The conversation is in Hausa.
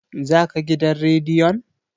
za ka gidan rediyon!